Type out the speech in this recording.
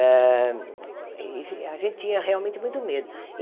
Ah esse a gente tinha realmente muito medo.